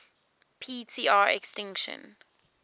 p tr extinction